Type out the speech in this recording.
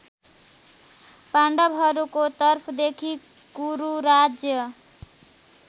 पाण्डवहरूको तर्फदेखि कुरुराज्य